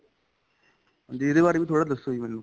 ਵੀ ਇਹਦੇ ਬਾਰੇ ਵੀ ਥੋੜਾ ਜਾਂ ਦੱਸੋ ਜ਼ੀ ਮੈਨੂੰ